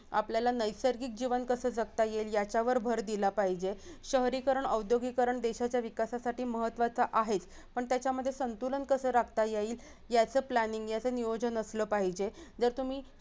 आपल्याला नैसर्गिक जीवन कसं जगता येईल याच्यावर भर दिला पाहिजे शहरीकरण आद्योगिकरण देशाच्या विकासासाठी महत्त्वाचं आहे पण त्याच्यामध्ये संतुलन कसं राखता येईल याचं planning याचं नियोजन असला पाहिजे जर तुम्ही